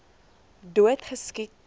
dood geskiet toe